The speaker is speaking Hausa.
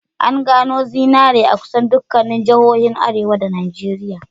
An gano zinari a kusan dukkanin jihohin arewa a Najeriya.